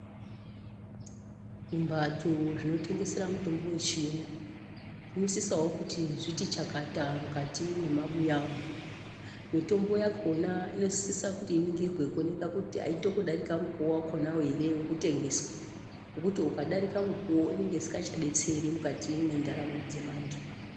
Zvibhatso zvinotengesera mitombo yechiyungu zvinosisawo kuti zviti chakata mukati mwemabhuya umu mutombo yakona inosisa kuti iningirwe kuonekwa kuti ainokudarika mukuwa wakona hre wekutengeswa nekuti ukadarika mukuwo inenge isingachabetseri mukati mwendaramo dzeantu.